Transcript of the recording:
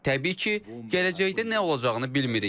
Təbii ki, gələcəkdə nə olacağını bilmirik.